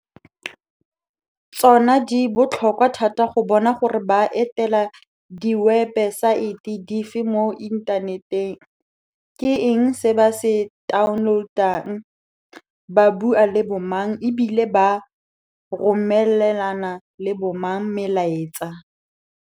Tsona di botlhokwa thata go bona gore ba etela diwebesaete di fe mo inthaneteng, ke eng se ba se taoneloutang, ba bua le bo mang e bile ba romelana le bo mang melaetsa.